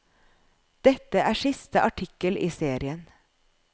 Dette er siste artikkel i serien.